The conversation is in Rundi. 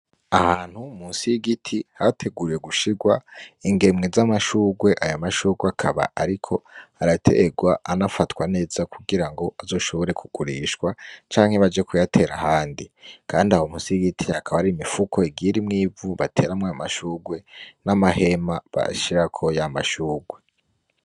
Ahantu munsi y'igiti hateguwe gushirwa ingemwe z'amashurwe. Aya mashurwe akaba ariko araterwa, anafatwa neza, kugira ngo azoshobore kugurishwa, canke baje kuyatera ahandi. Kandi aho munsi y'igiti hakaba hari imifuko igiye irimwo ivu bateramwo amashurwe, n'amahema bashirako ya mashurwe.